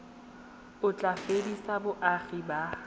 o tla fedisa boagi ba